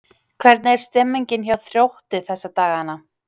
Hvernig er stemningin hjá Þrótti þessa dagana?